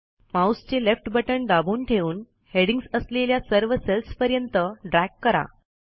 माऊसचे left button दाबून ठेवून हेडिंग्ज असलेल्या सर्व सेल्सपर्यंत ड्रॅग करा